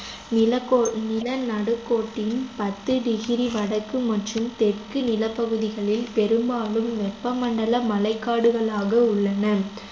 நிலகோ~ நிலநடுக்கோட்டின் பத்து degree வடக்கு மற்றும் தெற்கு நிலப்பகுதிகளில் பெரும்பாலும் வெப்பமண்டல மழைக்காடுகளாக உள்ளன